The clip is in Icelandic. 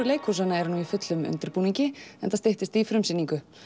leikhúsanna eru nú í fullum undirbúningi enda styttist í frumsýningu